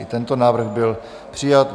I tento návrh byl přijat.